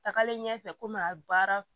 Tagalen ɲɛfɛ komi a baara